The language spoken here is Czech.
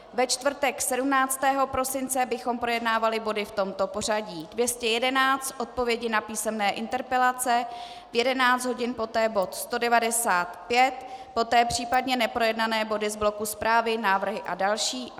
Ve čtvrtek 17. prosince bychom projednávali body v tomto pořadí: 211 - odpovědi na písemné interpelace, v 11 hodin poté bod 195, poté případně neprojednané body z bloku zprávy, návrhy a další.